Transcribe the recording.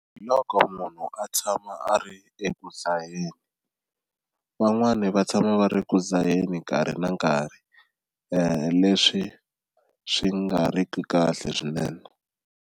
Hi loko munhu a tshama a ri eku dzaheni van'wani va tshama va ri ku dzaheni nkarhi na nkarhi leswi swi nga ri ki kahle swinene.